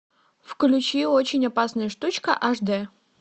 включи очень опасная штучка аш дэ